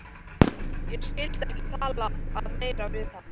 Ég skyldi ekki tala meira við hann.